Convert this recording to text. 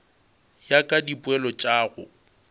ya ka dipoelo tša go